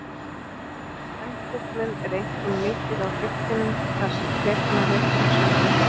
Eldvirknin er einkum mikil á hryggjunum þar sem flekana rekur sundur.